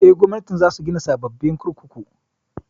Eh, Gwamnatin za su gina sababbin kurkuku